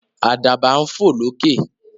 Àdàbà ń fò lókè.